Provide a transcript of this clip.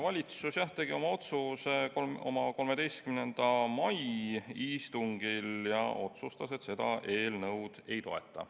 Valitsus tegi oma otsuse oma 13. mai istungil ja otsustas, et ta seda eelnõu ei toeta.